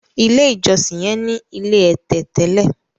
ilé ìjósìn yen ní ilé ẹ̀tẹ̀ tẹlẹ.